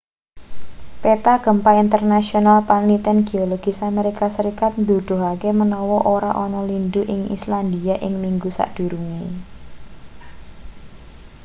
peta gempa internasional panliten geologis amerika serikat nuduhake manawa ora ana lindhu ing islandia ing minggu sadurunge